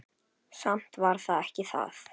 Samt var það ekki það.